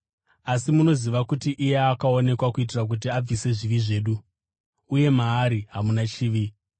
Asi munoziva kuti iye akaonekwa kuitira kuti abvise zvivi zvedu. Uye maari hamuna chivi.